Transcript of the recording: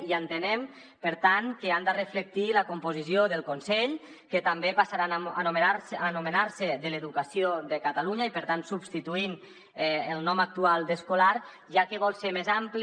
i entenem per tant que han de reflectir la composició del consell que també passa rà a anomenar se d’educació de catalunya i per tant substituint el nom actual d’ escolar ja que vol ser més ampli